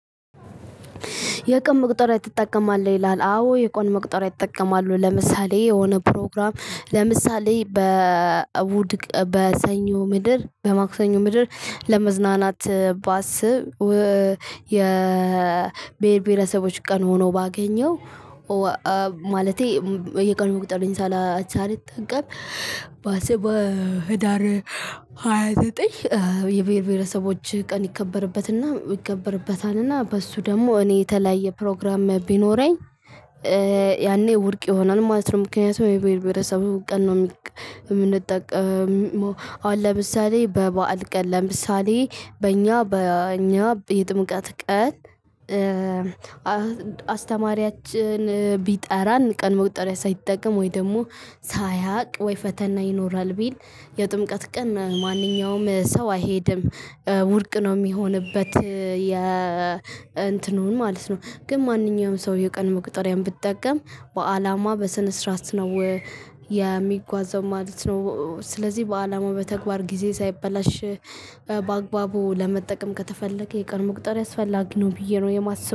የቀን መቁጠሪያ ትጠቀማል ይላል አዎ የቀን መቁጠሪያ እጠቀማሉ ለምሳሌ የሆነ ፕሮግራም ለምሳሌ በእሁድ ቀን በሰኞ ምድር በማክሰኞ ምድር ለመዝናናት ባስብ። የብሄር ብሄረሰቦች ቀን ሆኖ ባገኘው። ማለቴ የቀኑን መቁጥር ሳላ ሳልጠቀም። ባሰበ ህዳር ሃያ ዘጠኝ የብርብረሰቦች ቀን ይከበርበትና ይከበርበታልና በሱ ደግሞ እኔ የተለያየ ፕሮግራም ቢኖረኝ። ያኔ ውድቅ ይሆናል ማለት ነው። ምክንያቱም የብረብረሰቡ ቀን ነው የምንጠቀመው አሁን ለምሳሌ በበዓል ቀን ለምሳሌ በእኛ በእኛ የጥምቀት ቀን። አስተማሪያችን ቢጠራን ቀን መቁጠሪያ ሳይጠቀም ወይ ደግሞ ሳያውቅ ወይ ፈተና ይኖራል ቢል የጥምቀት ቀን ማንኛውም ሰው አይሄድም። ውድቅ ነው የሚሆንበት የ እንትኑን ማለት ነው። ግን ማንኛውም ሰው የቀን መቁጠሪያን ብጠቀም በአላማ በስነ ስርዓት ነው የሚጓዘው ማለት ነው። ስለዚህ በአላማው በተግባር ጊዜ ሳይበላሽ በአግባቡ ለመጠቀም ከተፈለገ የቀን መቁጠሪያ አስፈላጊ ነው። ብዬ ነው የማስበው